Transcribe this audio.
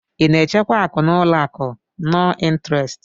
Ị na-echekwa akụ n'ụlọ akụ nọn ịntrestị?